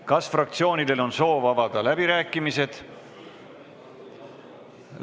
Kas fraktsioonidel on soovi avada läbirääkimisi?